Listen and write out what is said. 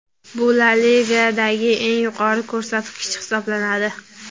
Bu La Ligadagi eng yuqori ko‘rsatkich hisoblanadi.